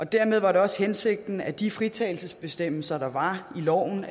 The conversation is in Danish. dermed var det også hensigten at de fritagelsesbestemmelser der var i loven